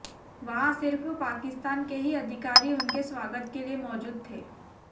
वहां सिर्फ पाकिस्तान के ही अधिकारी उनके स्वागत के लिए मौजूद थे